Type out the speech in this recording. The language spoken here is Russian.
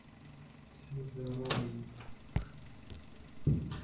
всем здарово ё п т